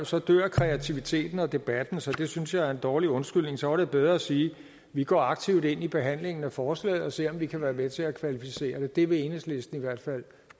så dør kreativiteten og debatten så det synes jeg er en dårlig undskyldning så var det bedre at sige vi går aktivt ind i behandlingen af forslaget og ser om vi kan være med til at kvalificere det det vil enhedslisten i hvert fald